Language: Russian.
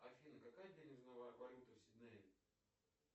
афина какая денежная валюта в сиднее